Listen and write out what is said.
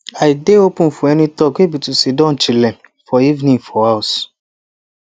i dey open for any talk way be to sidon chile for evening for house